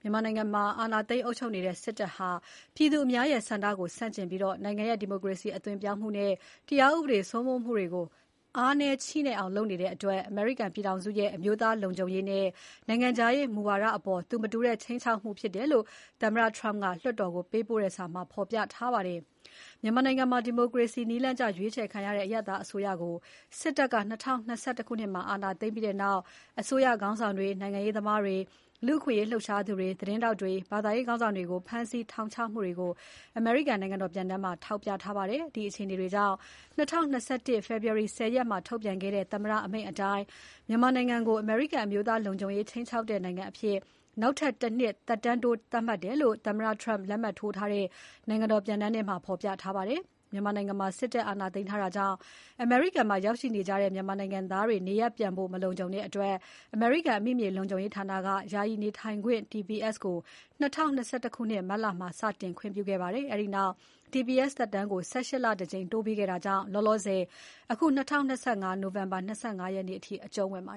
မြန်မာနိုင်ငံမှာ အာဏာသိမ်းအုပ်ချုပ်နေတဲ့စစ်တပ်ဟာ ပြည်သူအများရဲ့ဆန္ဒကိုဆန့်ကျင်ပြီး နိုင်ငံရဲ့ ဒီမိုကရေစီအသွင်ပြောင်းမှုနဲ့ တရားဥပဒေစိုးမိုးမှုတွေကို အားနည်းချည့်နဲ့အောင်လုပ်ဆောင်နေတဲ့ အတွက် အမေရိကန်ပြည်ထောင်စုရဲ့ အမျိုးသားလုံခြုံရေးနဲ့ နိုင်ငံခြားရေး မူဝါဒအပေါ် သူမတူတဲ့ ခြိမ်းခြောက်မှုဖြစ်တယ်လို့ သမ္မတ Trump က လွှတ်တော်ကို ပေးပို့တဲ့စာမှာ ဖော်ပြထားပါတယ်။ မြန်မာနိုင်ငံမှာ ဒီမိုကရေစီနည်းလမ်းကျရွေးချယ်ခံရတဲ့ အရပ်သားအစိုးရကို စစ်တပ်က ၂၀၂၁ ခုနှစ်မှာ အာဏာသိမ်းပြီးနောက် အစိုးရခေါင်းဆောင်တွေ၊ နိုင်ငံရေးသမားတွေ၊ လူ့အခွင့်အရေးလှုပ်ရှားသူတွေ၊ သတင်းထောက်တွေ၊ ဘာသာရေးခေါင်းဆောင်တွေကို ဖမ်းဆီး ထောင်ချမှုတွေကို အမေရိကန် နိုင်ငံတော်ပြန်တမ်းမှာ ထောက်ပြထားပါတယ်။ ဒီအခြေအနေတွေကြောင့် ၂၀၂၁ ခုနှစ် ဖေဖော်ဝါရီ ၁၀ ရက်မှာထုတ်ပြန်ခဲ့တဲ့ သမ္မတအမိန့်အတိုင်း မြန်မာနိုင်ငံကို အမေရိကန်အမျိုးသားလုံခြုံရေး ခြိမ်းခြောက်တဲ့နိုင်ငံအဖြစ် ‘နောက်ထပ်တနှစ်ထပ်တိုး’သတ်မှတ်တယ်လို့ သမ္မတ Trump လက်မှတ်ထိုး ထားတဲ့ နိုင်ငံတော်ပြန်တမ်းမှာ ဖော်ပြထားပါတယ်။ မြန်မာနိုင်ငံမှာစစ်တပ်အာဏာသိမ်းထားတာကြောင့် အမေရိကန်မှာ ရောက်ရှိနေကြတဲ့ မြန်မာနိုင်ငံသားတွေ နေရပ်ပြန်ဖို့ မလုံခြုံတဲ့အတွက် အမေရိကန် အမိမြေလုံခြုံရေးဌာနက ယာယီနေထိုင်ခွင့် TPS ကို ၂၀၂၁ ခုနှစ် မတ်လမှာ စတင် ခွင့်ပြုခဲ့ပါတယ်။ အဲဒီနောက်TPS သက်တမ်းကို ၁၈ လတကြိမ် တိုးပေးခဲ့တာကြောင့် လောလောဆယ် ၂၀၂၅ နိုဝင်ဘာ ၂၅ ရက်နေ့အထိ အကျုံးဝင်နေပါ